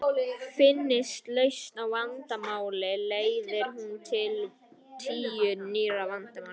Finnist lausn á vandamáli leiðir hún til tíu nýrra vandamála.